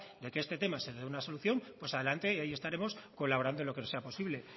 de que este tema se le dé una solución pues adelante y ahí estaremos colaborando en lo que sea posible